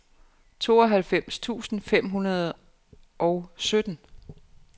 tooghalvfems tusind fem hundrede og sytten